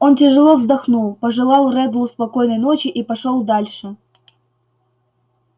он тяжело вздохнул пожелал реддлу спокойной ночи и пошёл дальше